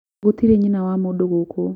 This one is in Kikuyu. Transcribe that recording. gũtiri nyina wa mũndũ gũkũ